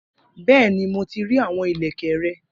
Bẹẹni, Mo ti rii awọn ilẹkẹ rẹ.